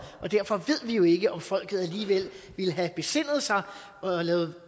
og derfor ved vi jo ikke om folket alligevel ville have besindet sig og